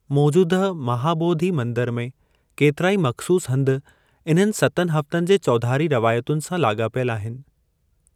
मोजूदह महाॿोधी मंदर में केतिराई मख़सूसु हंधि इन्हनि सतन हफ़्तनि जे चौधारी रवायतुनि सां लाॻापियलु आहिनि।